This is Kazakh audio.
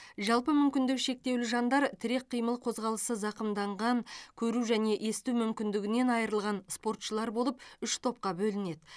жалпы мүмкіндігі шектеулі жандар тірек қимыл қозғалысы зақымданған көру және есту мүмкіндігінен айырылған спортшылар болып үш топқа бөлінеді